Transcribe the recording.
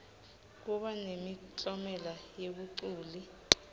kuba nemiklomelo yebaculi